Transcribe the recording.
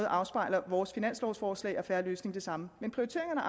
afspejler vores finanslovforslag og en fair løsning det samme men prioriteringerne